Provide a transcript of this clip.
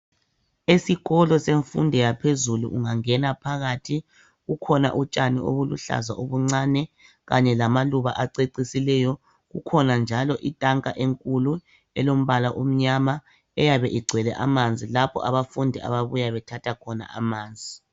Esikolo semfundo yaphezulu ungangena phakathi kukhona utshani ubuluhlaza obuncani Kanye lamaluba acecisileyo kukhona njalo itanka enkulu elombala omnyama eyabe igcwele amanzi lapho abafundi ababuya khona bethathe amanzi.